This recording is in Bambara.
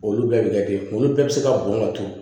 Olu bɛɛ bɛ kɛ ten olu bɛɛ bɛ se ka bɔn ka turu